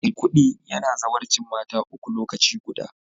Maikudi yana zawarcin mata uku lokaci guda